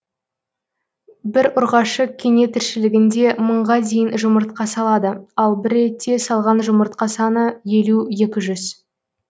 бір ұрғашы кене тіршілігінде мыңға дейін жұмыртқа салады ал бір ретте салған жұмыртқа саны елу екі жүз